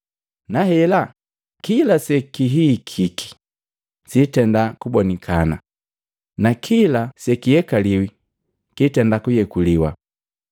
Nahela kila sekihihiki sitenda kubonikana, na kila se kiyekaliwi kitenda kuyekuliwa.